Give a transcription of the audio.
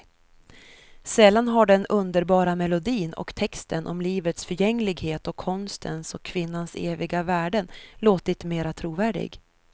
Sällan har den underbara melodin och texten om livets förgängligheten och konstens och kvinnans eviga värden låtit mera trovärdig.